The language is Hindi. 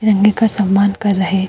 तिरंगे का सम्मान कर रहे --